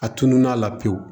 A tununa a la pewu